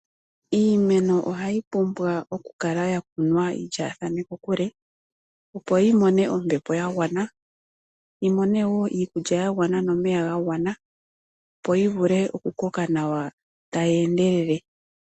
Iimeno ohayi pumbwa Oku kunwa yi lyaathane kokule opo yi mone ombepo ya gwana nawa, yi mone woo iikudja nomeya ga gwana opo yi vule oku koka nawa tayi endelele.